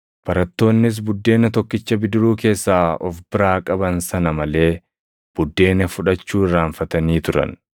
Barattoonnis buddeena tokkicha bidiruu keessaa of biraa qaban sana malee buddeena fudhachuu irraanfatanii turan.